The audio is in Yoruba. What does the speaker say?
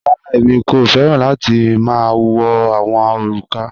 Rárá, èmi kò fẹ̀ran láti ma wọ̀ awọn orúkà.